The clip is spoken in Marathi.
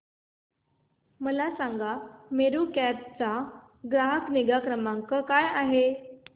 मला सांगा मेरू कॅब चा ग्राहक निगा क्रमांक काय आहे